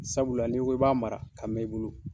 Sabula n'i ko k'i b'a mara ka mɛn i bolo